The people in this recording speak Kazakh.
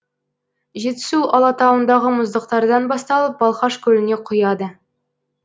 жетісу алатауындағы мұздықтардан басталып балқаш көліне құяды